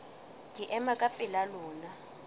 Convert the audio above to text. ke ema ka pela lona